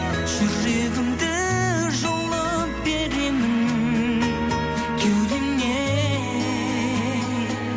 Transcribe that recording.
жүрегімді жұлып беремін кеудемнен